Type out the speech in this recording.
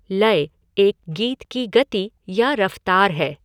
लय एक गीत की गति या रफ़्तार है।